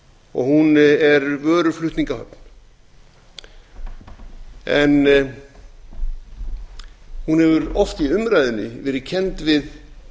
og hún er vöruflutningahöfn en hún hefur oft í umræðunni verið kennd við